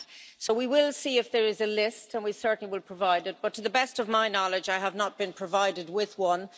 So we will see if there is a list and we certainly will provide it, but to the best of my knowledge, I have not been provided with one.